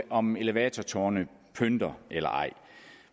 om elevatortårne pynter eller ej